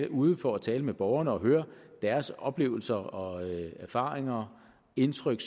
ude for at tale med borgerne og høre deres oplevelser og erfaringer indtryk